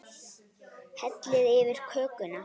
Hellið yfir kökuna.